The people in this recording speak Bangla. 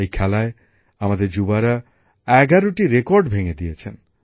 এই খেলায় আমাদের যুবকযুবতীরা ১১টি রেকর্ড ভেঙে দিয়েছেন